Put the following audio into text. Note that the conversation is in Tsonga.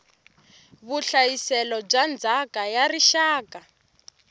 vuhlayiselo bya ndzhaka ya rixaka